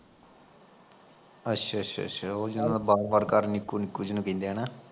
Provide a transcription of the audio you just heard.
ਅੱਛਾ ਅੱਛਾ ਅੱਛਾ ਉਹ ਜਿਨਾਂ ਦਾ ਬਾਹਰੋਂ ਬਾਹਰ ਘਰ ਨਿੱਕੂ ਨਿੱਕੂ ਜਿਨੂੰ ਕਹਿੰਦੇ ਆ ਨਾ